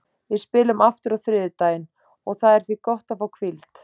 Við spilum aftur á þriðjudaginn og það er því gott að fá hvíld.